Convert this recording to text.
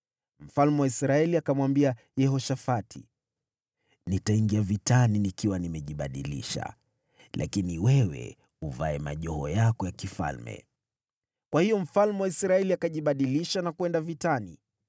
Mfalme wa Israeli akamwambia Yehoshafati, “Nitaingia vitani nikiwa nimejibadilisha, lakini wewe uvae majoho yako ya kifalme.” Kwa hiyo mfalme wa Israeli akajibadilisha na kwenda vitani.